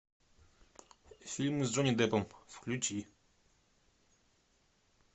фильмы с джонни деппом включи